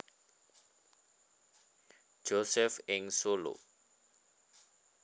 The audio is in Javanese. Josef ing Solo